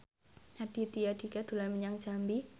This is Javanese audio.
Raditya Dika dolan menyang Jambi